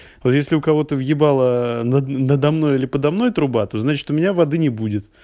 если у кого-то въебала над надо мной или подо мной труба то значит у меня воды не будет